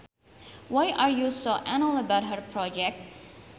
Why are you so anal about her project